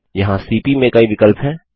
यहाँ सीपी में कई विकल्प हैं